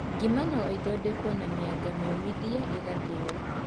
Ngima no ĩthondekwo na mĩanga mĩũmithie ĩgathĩnyo.